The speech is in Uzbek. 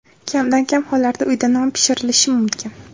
Kamdan-kam hollarda uyda non pishirilishi mumkin.